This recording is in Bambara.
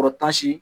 Kɔrɔtan si